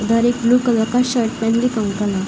उधर एक blue colour का शर्ट पहन के एक अंकल हैं।